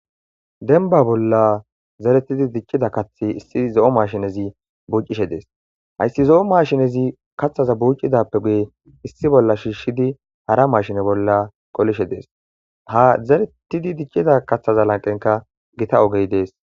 Denba bolla zaretidi dichchida kathi issi zo'o mashinezi buucishe dees hayssi zo'o mashinezi katthaza buucidappe guye issi bolla shiishshidi hara mashine bolla qolishe dees ha zaretidi dichcida kaththaza lanqenka gita ogey dees.